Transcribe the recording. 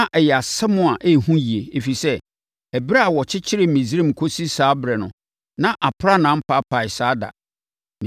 Na ɛyɛ asɛm a ɛyɛ hu yie. Ɛfiri sɛ, ɛberɛ a wɔkyekyeree Misraim kɔsi saa ɛberɛ no, na aprannaa mpaapae saa da.